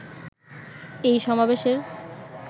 এই সমাবেশের